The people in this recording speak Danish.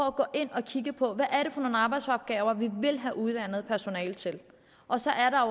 at gå ind og kigge på hvad det er for nogle arbejdsopgaver vi vil have uddannet personale til og så handler